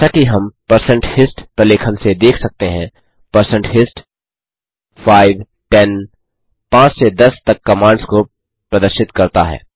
जैसा कि हम160 हिस्ट प्रलेखन से देख सकते हैं160 हिस्ट 5 10 5 से 10 तक कमांड्स को प्रदर्शित करता है